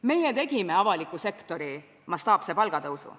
Meie tegime ära avaliku sektori mastaapse palgatõusu.